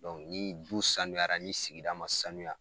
Dɔnku ni du sanuyara ni sigida ma sanuya